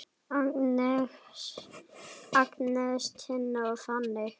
Agnes, Tinna og Fanney.